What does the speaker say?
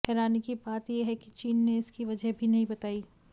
हैरानी की बात ये है कि चीन ने इसकी वजह भी नहीं बताई